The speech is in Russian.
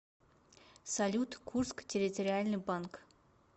салют курск территориальный банк